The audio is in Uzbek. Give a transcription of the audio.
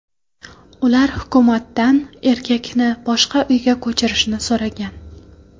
Ular hukumatdan erkakni boshqa uyga ko‘chirishni so‘ragan.